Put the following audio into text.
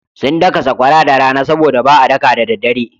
Sun daka sakwara da rana sabo da ba a daka da daddare.